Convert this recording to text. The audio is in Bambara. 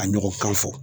A ɲɔgɔn kan fɔ